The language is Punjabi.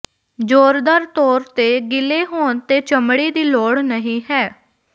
ਜ਼ੋਰਦਾਰ ਤੌਰ ਤੇ ਗਿੱਲੇ ਹੋਣ ਤੇ ਚਮੜੀ ਦੀ ਲੋੜ ਨਹੀਂ ਹੈ